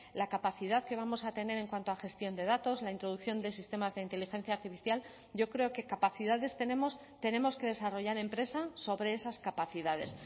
la capacidad que vamos a tener en cuanto a gestión de datos la introducción de sistemas de inteligencia artificial yo creo que capacidades tenemos tenemos que desarrollar empresa sobre esas capacidades